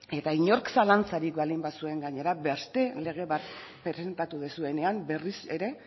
eta inork zalantzarik baldin bazuen gainera beste lege bat presentatu duzuenean berriz ere